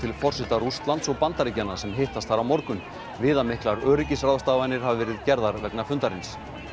forseta Rússlands og Bandaríkjanna sem hittast þar á morgun viðamiklar öryggisráðstafanir hafa verið gerðar vegna fundarins